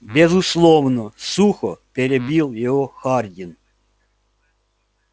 безусловно сухо перебил его хардин